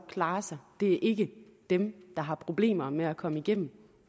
klare sig det er ikke dem der har problemer med at komme igennem